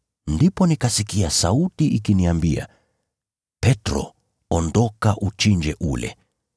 Ndipo nikasikia sauti ikiniambia, ‘Petro, ondoka uchinje na ule.’